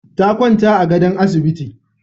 Ta kwanta a gadon asibiti.